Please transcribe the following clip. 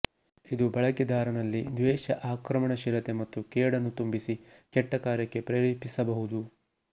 ಇದು ಬಳಕೆದಾರನಲ್ಲಿ ದ್ವೇಷ ಆಕ್ರಮಣಶೀಲತೆ ಮತ್ತು ಕೇಡನ್ನು ತುಂಬಿಸಿ ಕೆಟ್ಟ ಕಾರ್ಯಕ್ಕೆ ಪ್ರೇರೇಪಿಸಬಹುದು